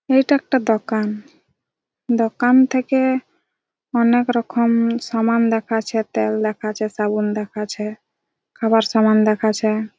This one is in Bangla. এটা একটা দোকান দোকান থেকে এ এ অনেক রকম সামান দেখাছে তেল দেখাছে সাবুন দেখাছে খাবার সামান দেখাছে।